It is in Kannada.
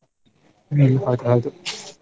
ಹ್ಮ್ ಹೌದು ಹೌದು .